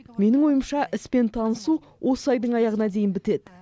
менің ойымша іспен танысу осы айдың аяғына дейін бітеді